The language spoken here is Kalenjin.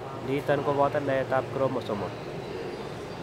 Niiton koboto naetab chromosomal.